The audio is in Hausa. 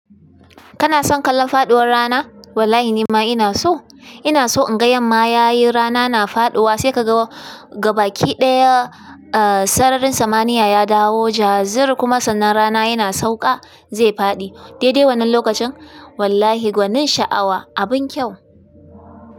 Kana son kallon faɗuwar rana? Wallahi ni ma ina so. Ina so in ga yamma yayi rana na faɗuwa, sai ka ga gabaki ɗaya, eh, sararin samaniya ya dawo, jazur kuma sannan rana yana sauƙa zai faɗi. Dai dai wannan lokacin wallahi gwanin sha'awa, abun kyau.